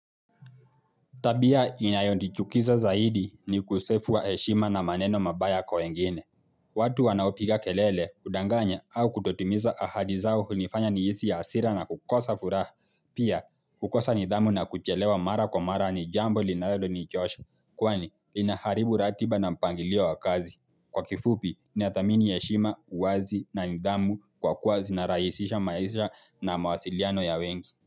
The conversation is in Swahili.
Tabia inayo ndichukiza zaidi ni ukosefu wa eshima na maneno mabaya kwa wengine. Watu wanaopika kelele, udanganya au kutotimiza ahadi zao hunifanya nihisi ya hasira na kukosa furaha. Pia, kukosa nidhamu na kuchelewa mara kwa mara ni jambo linaelo nichosha. Kwani, inaharibu ratiba na mpangilio wa kazi. Kwa kifupi, ninathamini eshima, wazi na nidhamu kwa kuwa zinarahisisha maisha na mawasiliano ya wengi.